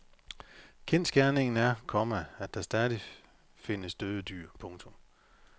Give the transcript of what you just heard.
Kendsgerningen er, komma at der stadig findes døde dyr. punktum